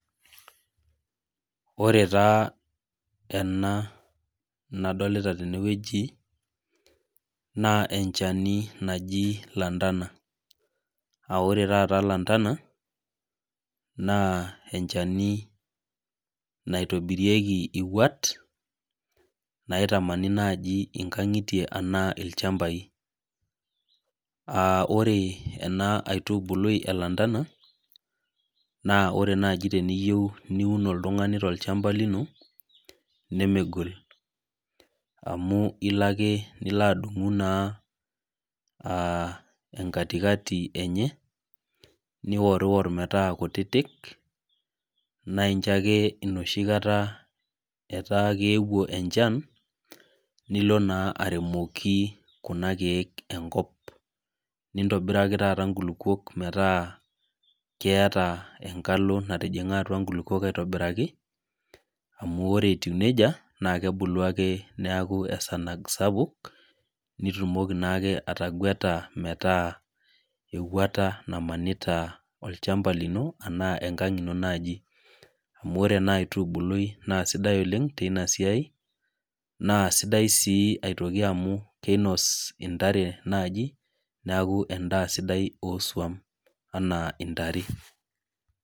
Ore taa, ena nadolita tenewueji, naa enchani naji lantana. Ah ore taata lantana, naa enchani naitobirieki iwuat, naitamani naji inkang'itie anaa ilchambai. Ore ena aitubului e lantana, naa ore naji teniyieu niun oltung'ani tolchamba lino, nemegol. Amu ilo ake nilo adung'u naa enkatikati enye, niorwor metaa kutitik, naincho ake enoshi kata etaa keewuo enchan, nilo naa aremoki kuna keek enkop. Nintobiraki taata nkulukuok metaa keeta enkalo natijing'a atua nkulukuok aitobiraki, amu ore etiu nejia, na kebulu ake neeku esanag sapuk, nitumoki naake ataguata metaa ewuata namanita olchamba lino, enaa enkang' ino naji. Amu ore enaitubului na sidai oleng tinasiai, na sidai si aitoki amu kinos intare naji, neeku endaa sidai osuam enaa intare.